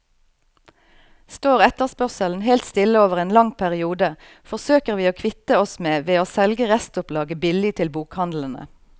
Står etterspørselen helt stille over en lang periode, forsøker vi å kvitte oss med ved å selge restopplaget billig til bokhandlene.